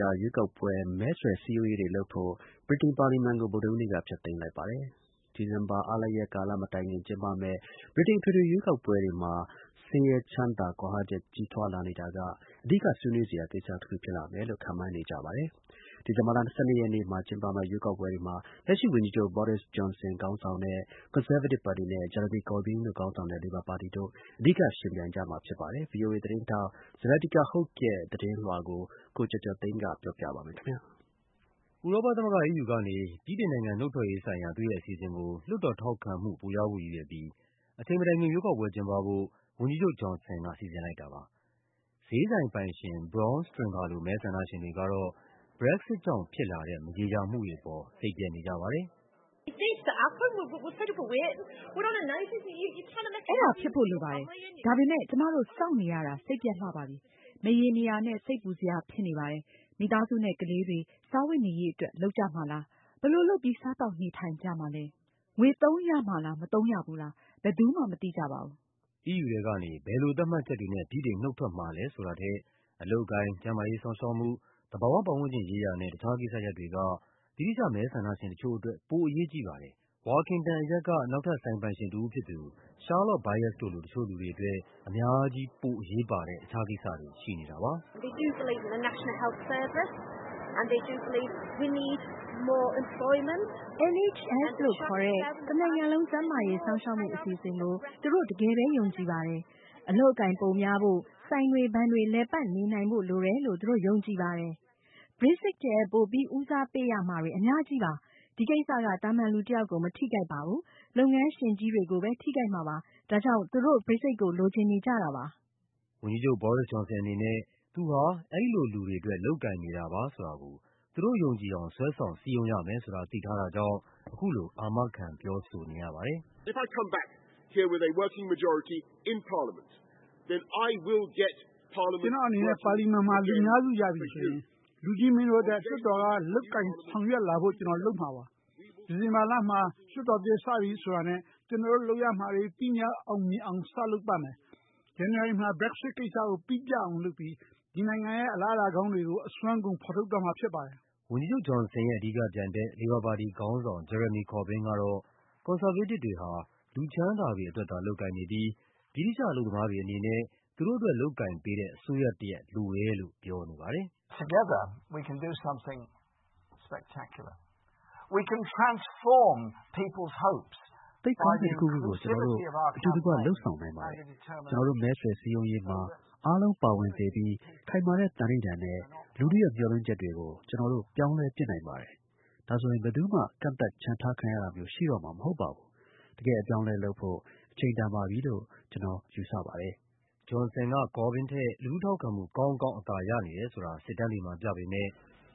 ြာ ရွေးကောက်ပွဲ မဲဆွယ်စည်းရုံးရေးအတွက် ပါလီမန်ကို ဗုဒ္ဓဟူးနေ့က ဖျက်သိမ်း လိုက်ပါတယ်။ နှစ်ကုန်ပိုင်း အားလပ်ရက်ကာလမတိုင်ခင် ကျင်းပမယ့် ဗြိတိန် အထွေထွေရွေးကောက်ပွဲတွေမှာ ဆင်းရဲချမ်းသာ ကွာဟမှု ကြီးထွားလာနေတာက အဓိကကိစ္စရပ်တခုဖြစ်မယ်လို့ ခန့်မှန်းထားကြပါတယ်။ ဒီဇင်ဘာလ ၁၂ ရက်နေ့ကျင်းပမယ့် ရွေးကောက်ပွဲတွေမှာ ကွန်ဆာဗေးတစ်ပါတီက လက်ရှိဝန်ကြီးချုပ် Boris Johnson နဲ့ လေဘာပါတီခေါင်းဆောင် Jeremy Corbyn တို့ ယှဉ်ပြိုင်ကြရမှာပါ။ ဗွီအိုအေသတင်းထောက် Zlatica Hoke ရဲ့သတင်းလွှာကို ကိုကျော်ကျော်သိန်းက ပြောပြပါမယ်။ ဥရောပသမဂ္ဂ EU ကနေ ဗြိတိန်နိုင်ငံ နုတ်ထွက်ရေးဆိုင်ရာ သူ့ရဲ့အစီအစဉ်ကို လွှတ်တော်ထောက်ခံမှု ပိုရဖို့ရည်ရွယ်ပြီး အချိန်မတိုင်ခင် ရွေးကောက်ပွဲကျင်းပဖို့ ဝန်ကြီးချုပ် Johnson က စီစဉ်လိုက်တာပါ။ ဈေးဆိုင်ပိုင်ရှင် Bron Stringer လို မဲဆန္ဒရှင် တွေကတော့ Brexit ကြောင့်ဖြစ်လာတဲ့ မရေရာမှုတွေအပေါ် စိတ်ပျက်နေကြပါတယ်။ “အဲဒါဖြစ်ဖို့လိုပါတယ်။ ဒါပေမယ့် ကျမတို့ စောင့်နေရတာ စိတ်ပျက်လှပါပြီ။ မရေမရာနဲ့ စိတ်ပူစရာဖြစ်နေပါ တယ်။ မိသားစုနဲ့ကလေးတွေ စားဝတ်နေရေးအတွက် လုပ်ကြမှာလား… ဘယ်လိုလုပ်ပြီး စားသောက်နေထိုင်ကြမှာလဲ… ငွေသုံးရမှာလား မသုံးရဘူးလား… ဘယ်သူမှ မသိကြပါဘူး။” EU ထဲကနေ ဘယ်လိုသတ်မှတ်ချက်တွေနဲ့ ဗြိတိန်နုတ်ထွက်မှာလဲဆိုတာထက် အလုပ်အကိုင်၊ ကျန်းမာရေးစောင့်ရှောက်မှု၊ သဘာဝပတ်ဝန်းကျင်ရေးရာနဲ့ တခြားကိစ္စရပ်တွေက ဗြိတိသျှ မဲဆန္ဒရှင်တချို့အတွက် ပိုအရေးကြီးပါတယ်။ Workington အရပ်က နောက်ထပ် ဆိုင်ပိုင်ရှင်တဦးဖြစ်သူ Charlotte Byus တို့လို တချို့လူတွေအတွက် အများကြီး ပိုအရေးပါတဲ့ တခြားကိစ္စတွေ ရှိနေတာပါ။ “NHS လို့ခေါ်တဲ့ တနိုင်ငံလုံး ကျန်းမာရေးစောင့်ရှောက်မှုအစီအစဉ်ကို သူတို့ တကယ်ပဲ ယုံကြည်ပါတယ်။ အလုပ်အကိုင် ပိုများဖို့၊ ဆိုင်တွေ ဘဏ်တွေ လည်ပတ်နေနိုင်ဖို့လိုတယ်လို့ သူတို့ယုံကြည်ပါတယ်။ Brexit ထက် ပိုပြီး ဦးစားပေးရ မှာတွေ အများကြီးပါ။ ဒီကိစ္စက သာမန်လူတယောက်ကို မထိခိုက်ပါဘူး။ လုပ်ငန်းရှင်ကြီးတွေကိုပဲ ထိခိုက်မှာပါ။ ဒါကြောင့် သူတို့ Brexit ကို လိုချင်နေတာပါ။” ဝန်ကြီးချုပ် Boris Johnson အနေနဲ့ သူဟာ အဲဒီလိုလူတွေအတွက် လုပ်ကိုင်နေတာပါဆိုတာကို သူတို့ယုံကြည်အောင် ဆွဲဆောင်စည်းရုံးရမယ်ဆိုတာ သိထားတာကြောင့် အခုလို အာမခံပြောဆိုနေရပါတယ်။ “ကျနော့်အနေနဲ့ ပါလီမန်မှာ လူများစုရပြီဆိုရင် လူကြီးမင်းတို့အတွက် လွှတ်တော်က လုပ်ကိုင်ဆောင်ရွက်လာ ဖို့ ကျနော်လုပ်မှာပါ။ ဒီဇင်ဘာလမှာ လွှတ်တော်သစ်စပြီဆိုတာနဲ့ ကျနော်တို့လုပ်ရမှာတွေ ပြီးမြောက်အောင်မြင်အောင် စလုပ်ပါ မယ်။ ဇန်နဝါရီလမှာ Brexit ကိစ္စကို ပြတ်အောင်လုပ်ပြီး ဒီနိုင်ငံရဲ့ အလားအလာကောင်းတွေကို အစွမ်းကုန် ဖော်ထုတ်တော့မှာ ဖြစ်ပါတယ်။” ဝန်ကြီးချုပ် Johnson ရဲ့ အဓိကပြိုင်ဘက် လေဘာပါတီခေါင်းဆောင် Jeremy Corbyn ကတော့ ကွန်ဆာဗေးတစ်တွေဟာ လူ ချမ်းသာတွေအတွက်သာ လုပ်ကိုင်နေပြီး ဗြိတိသျှအလုပ်သမားတွေအနေနဲ့ သူတို့အတွက် လုပ်ကိုင်ပေးတဲ့ အစိုးရတရပ် လိုတယ်လို့ပြောနေပါတယ်။ “သိပ်ကောင်းတဲ့တခုခုကို ကျနော်တို့အတူတကွ လုပ်ဆောင်နိုင်ပါတယ်။ ကျနော်တို့ မဲဆွယ်စည်းရုံးရေးမှာ အားလုံးပါဝင်စေပြီး ခိုင်မာတဲ့သန္နိဋ္ဌာန်နဲ့ လူထုရဲ့မျှော်လင့်ချက်တွေကို ကျနော်တို့ ပြောင်းလဲပစ်နိုင်ပါတယ်။ ဒါဆိုရင် ဘယ်သူမှ ကန့်သတ် ချန်ထားခံရတာမျိုး ရှိတော့မှာမဟုတ်ပါဘူးး။ တကယ့်အပြောင်းအလဲလုပ်ဖို့ အချိန်တန်ပြီလို့ ကျနော်ယူဆပါတယ်။” Johnson က Corbyn ထက် လူထုထောက်ခံမှု ကောင်းကောင်းအသာရနေတယ်ဆိုတာ စစ်တမ်းတွေမှာပြပေမယ့်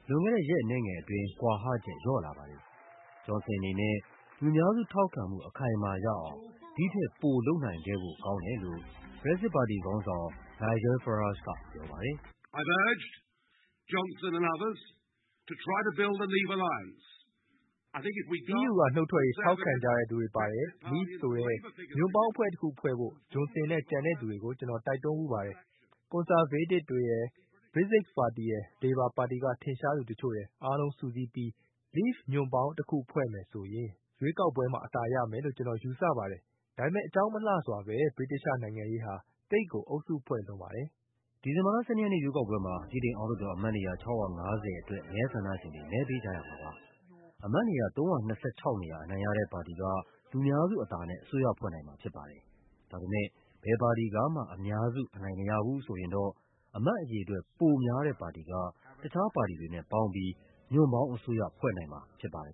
လွန်ခဲ့တဲ့ ရက်အနည်းငယ်အတွင်း ကွာဟာချက် လျော့လာပါတယ်။ Johnson အနေနဲ့ လူများစုထောက်ခံမှု အခိုင်အမာရအောင် ဒီ့ထက် ပိုလုပ်နိုင်ခဲ့ဖို့ကောင်းတယ်လို့ Brexit ပါတီခေါင်းဆောင် Nigel Farage ကပြောပါတယ်။ “EU ကနုတ်ထွက်ရေး ထောက်ခံကြသူတွေပါတဲ့ Leave ဆိုတဲ့ ညွန့်ပေါင်းတခုဖွဲ့ဖို့ Johnson နဲ့ ကျန်တဲ့လူတွေကို ကျနော် တိုက်တွန်းဖူးပါတယ်။ ကွန်ဆာဗေးတစ်တွေရယ်၊ Brexit ပါတီရယ်၊ လေဘာပါတီက ထင်ရှားသူတချို့ရယ် အားလုံးကိုစု ပြီး Leave ညွန့်ပေါင်းတခုဖွဲ့မယ်ဆိုရင် ရွေးကောက်ပွဲမှာ အသာရမယ်လို့ ကျနော်ယူဆပါတယ်။ ဒါပေမယ့် အကြောင်းမလှစွာဘဲ ဗြိတိသျှနိုင်ငံရေးဟာ သိပ်ကို အုပ်စုဖွဲ့လွန်းပါတယ်။” ဒီဇင်ဘာလ ၁၂ ရက်နေ့ရွေးကောက်ပွဲမှာ ဗြိတိန်အောက်လွှတ်တော် အမတ်နေရာ ၆၅၀ အတွက် မဲဆန္ဒရှင်တွေ မဲပေးကြရမှာပါ။ အမတ်နေရာ ၃၂၆ နေရာ အနိုင်ရတဲ့ပါတီက လူများစုအသာနဲ့ အစိုးရဖွဲ့နိုင်မှာဖြစ်ပါတယ်။ ဒါပေမယ့် ဘယ်ပါတီကမှ အများစု အနိုင်မရဘူးဆိုရင်တော့ အမတ်အရေအတွက် ပိုများတဲ့ပါတီက တခြားပါတီတွေနဲ့ပေါင်းပြီး ညွန့်ပေါင်းအစိုးရ ဖွဲ့နိုင်မှာဖြစ်ပါတယ်